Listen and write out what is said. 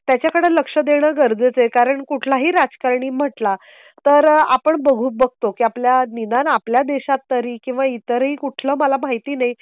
त्याच्याकडे लक्ष देणं गरजेचं आहे. कारण कुठला ही राजकारणी म्हटला तर आपण बघू बघतो की निदान आपल्या देशात तरी किंवा इतर हि कुठलं मला माहिती नाही